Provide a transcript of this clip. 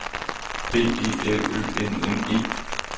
B E L Ø N N E